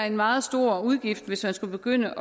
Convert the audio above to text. en meget stor udgift hvis man skulle begynde